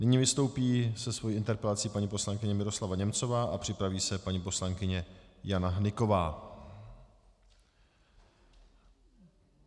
Nyní vystoupí se svou interpelací paní poslankyně Miroslava Němcová a připraví se paní poslankyně Jana Hnyková.